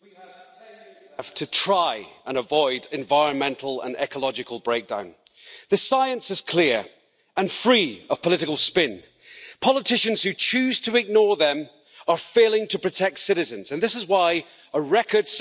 Madam President, we have ten years left to try and avoid environmental and ecological breakdown. The science is clear and free of political spin. Politicians who choose to ignore them are failing to protect citizens, and this is why a record